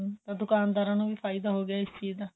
ਤਾਂ ਦੁਕਾਨ ਦਾਰਾ ਨੂੰ ਵੀ ਫਾਇਦਾ ਹੋ ਗਿਆ ਏਸ ਚੀਜ ਦਾ